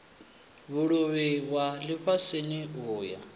vhuluvhi ya lifhasini u ya